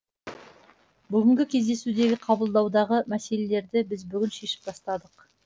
бүгінгі кездесудегі қабылдаудағы мәселелерді біз бүгін шешіп тастадық